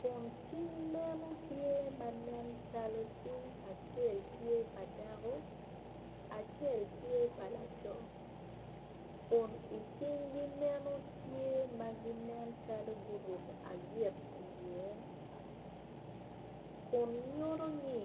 kun cing meno tye manen calo cing acel tye pa dako acel tye pa laco kun i cing gi meno tye nen calo guruko agit i ye kun nyuto ni